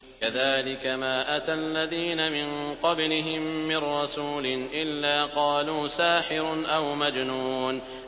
كَذَٰلِكَ مَا أَتَى الَّذِينَ مِن قَبْلِهِم مِّن رَّسُولٍ إِلَّا قَالُوا سَاحِرٌ أَوْ مَجْنُونٌ